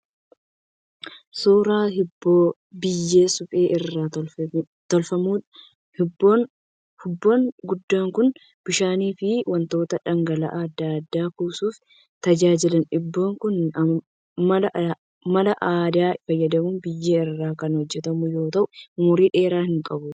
Suuraa hubboo biyyee suphee irraa tolfamuudha. Hubboo guddaan kun bishaanii fi wantoota dhangala'aa adda addaa kuusuuf tajaajila. Hubboon kun mala aadaa fayyadamuun biyyee irraa kan hojjetamu yoo ta'u umurii dheeraa hin qabu.